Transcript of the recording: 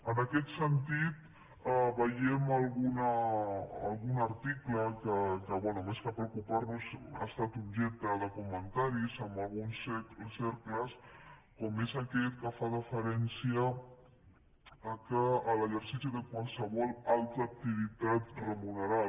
en aquest sentit veiem algun article que bé més que preocuparnos ha estat objecte de comentaris en alguns cercles com és aquest que fa referència a l’exercici de qualsevol altra activitat remunerada